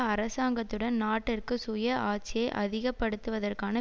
அரசாங்கத்துடன் நாட்டிற்கு சுயஆட்சியை அதிகப்படுத்துவதற்கான